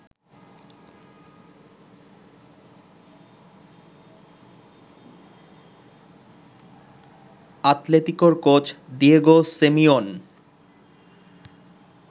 আতলেতিকোর coach Diego Simeon